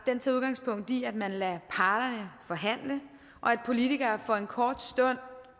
tager udgangspunkt i at man lader parterne forhandle og at politikere for en kort stund